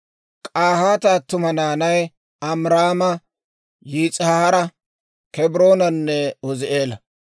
K'ahaata attuma naanay Amiraama, Yis'ihaara, Kebroonanne Uuzi'eela.